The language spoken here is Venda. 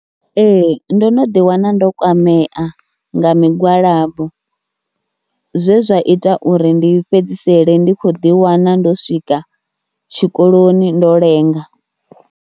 Ee ndo no ḓiwana ndo kwamea nga migwalabo zwe zwa ita uri ndi fhedzisele ndi khou ḓiwana ndo swika tshikoloni ndo lenga.